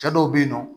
Cɛ dɔw be yen nɔ